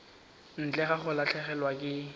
ntle ga go latlhegelwa ke